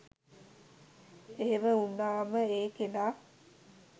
එහෙම උනාම ඒ කෙනා